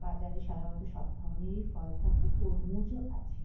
বাজার-এ সাধাণতঃ সব ধরণের ফল থাকে তরমুজ ও আছে।